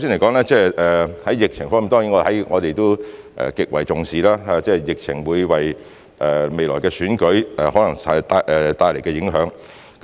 首先，在疫情方面，當然我們也極為重視疫情可能會為未來的選舉帶來的影響。